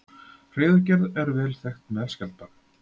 Hreiðurgerð er vel þekkt meðal skjaldbaka.